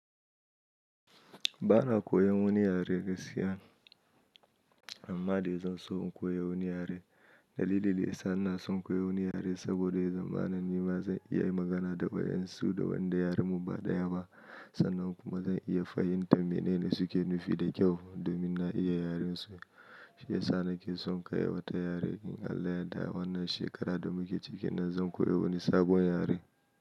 Ba na koyan wani yare gaskiya amma dai zan so in koyi wani yare. Dalilin da ya sa ina son koyi wani yare saboda zamanin nan ba zan iya yi magana da wayan su da wanda yaren mu ba daya ba sannan kuma zan iya fahimtar mene ne suke nufi da kyau domin na iya yaren su. Shi ya sa nake son ka iya wata yare in Allah ya yadda a wannan shekara da muke cike nan zan koyi wani sabon yare.